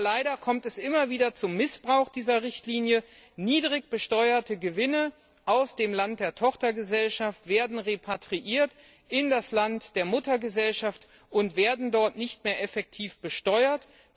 Aber leider kommt es immer wieder zum Missbrauch dieser Richtlinie Niedrig besteuerte Gewinne aus dem Land der Tochtergesellschaft werden in das Land der Muttergesellschaft repatriiert und dort nicht mehr effektiv besteuert.